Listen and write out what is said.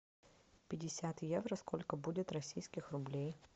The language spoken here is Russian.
пятьдесят евро сколько будет российских рублей